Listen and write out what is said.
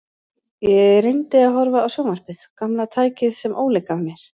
Ég reyndi að horfa á sjónvarpið, gamla tækið sem Óli gaf mér.